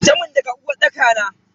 Fita mun daga uwarɗaka na.